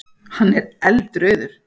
Hann er eldrauður.